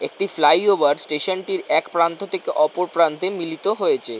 একটি flyover station -টির এক প্রান্ত থেকে ওপর প্রান্তে মিলিত হয়েছে।